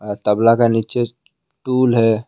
तबला का नीचे टूल है।